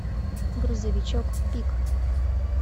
грузовичок пик